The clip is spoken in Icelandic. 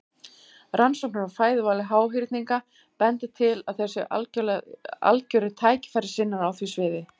Rannsóknir á fæðuvali háhyrninga bendir til að þeir séu algjörir tækifærissinnar á því sviði.